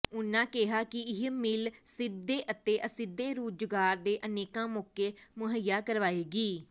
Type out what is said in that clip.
ਉਨ੍ਹਾਂ ਕਿਹਾ ਕਿ ਇਹ ਮਿਲ ਸਿੱਧੇ ਅਤੇ ਅਸਿੱਧੇ ਰੁਜ਼ਗਾਰ ਦੇ ਅਨੇਕਾਂ ਮੌਕੇ ਮੁਹਈਆ ਕਰਵਾਏਗੀ